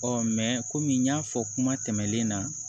kɔmi n y'a fɔ kuma tɛmɛnen na